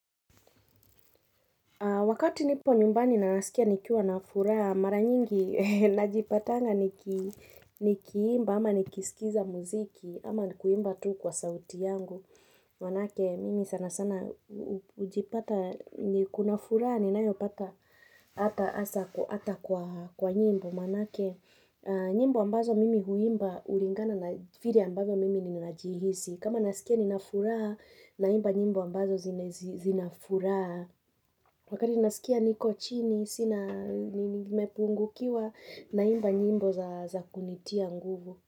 Wakati nipo nyumbani na nasikia nikiwa na furaha, mara nyingi najipatanga nikiimba, ama nikiiskiza muziki, ama nikuimba tu kwa sauti yangu. Manake, mimi sana sana hujipata, kuna furaha, ninayo pata hata hasa hata kwa kwa nyimbo Manake nyimbo ambazo mimi huimba hulingana na vile ambavyo mimi ninajihisi kama ninasikia nina furaha naimba nyimbo ambazo zenye zina furaha Wakati naskia niko chini sina nimepungukiwa naimba nyimbo za za kunitia nguvu.